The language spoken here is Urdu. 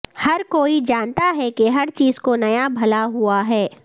ہر کوئی جانتا ہے کہ ہر چیز کو نیا بھلا ہوا ہے